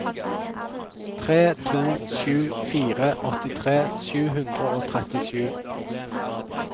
tre to sju fire åttitre sju hundre og trettisju